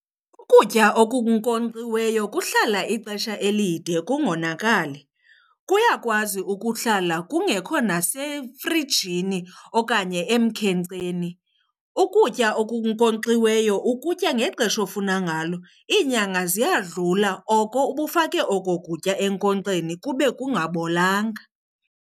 Ukutya okunkonkxiweyo kuhlala ixesha elide kungokonakali. Kuyakwazi ukuhlala kungekho nasefrijini okanye emkhenkceni. Ukutya okunkonkxiweyo ukutya ngexesha ofuna ngalo. Iinyanga ziyadlula oko ubufake oko kutya enkonkxeni kube kungabolanga.